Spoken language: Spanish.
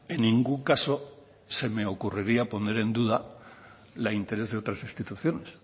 en ningún caso se me ocurriría poner en duda la interés de otras instituciones